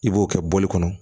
I b'o kɛ bɔli kɔnɔ